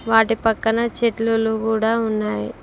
వాటి పక్కన చెట్లలో గుడా ఉన్నాయి.